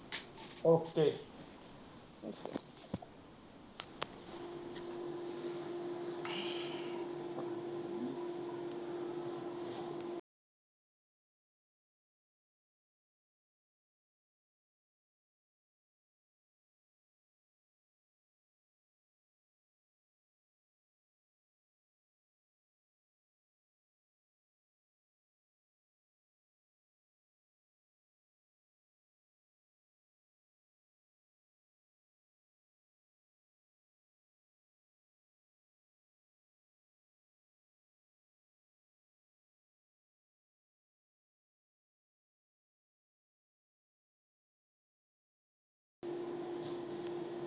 okay